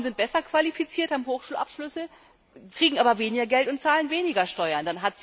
Frauen sind besser qualifiziert, haben Hochschulabschlüsse, kriegen aber weniger Geld und zahlen weniger Steuern.